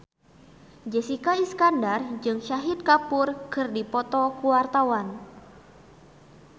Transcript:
Jessica Iskandar jeung Shahid Kapoor keur dipoto ku wartawan